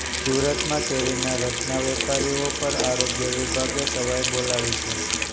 સુરતમાં કેરીના રસના વેપારીઓ પર આરોગ્ય વિભાગે તવાઇ બોલાવી છે